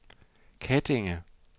Kettinge